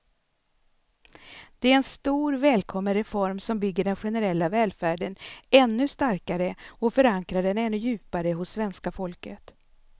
Det är en stor, välkommen reform som bygger den generella välfärden ännu starkare och förankrar den ännu djupare hos svenska folket.